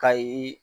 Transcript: Kayi